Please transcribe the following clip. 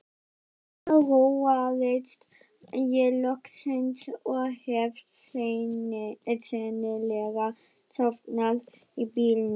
Þarna róaðist ég loksins og hef sennilega sofnað í bílnum.